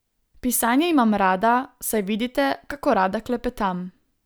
Pisanje imam rada, saj vidite, kako rada klepetam.